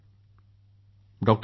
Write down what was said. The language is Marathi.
मोदी जीः डॉ